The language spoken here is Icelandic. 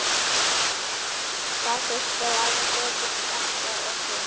Það þurfti að æfa betur þetta og hitt.